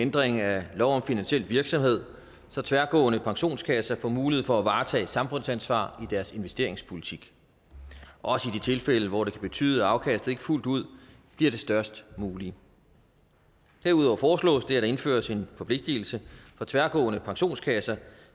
ændring af lov om finansiel virksomhed så tværgående pensionskasser får mulighed for at varetage samfundsansvar i deres investeringspolitik også i de tilfælde hvor det kan betyde at afkastet ikke fuldt ud bliver det størst mulige derudover foreslås det at der indføres en forpligtelse for tværgående pensionskasser